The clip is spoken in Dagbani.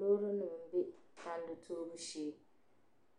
Loorinima m-be tandi toobu shee.